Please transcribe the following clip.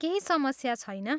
केही समस्या छैन।